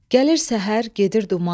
Gəlir səhər, gedir duman.